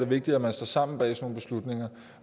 vigtigt at man står sammen bag sådan nogle beslutninger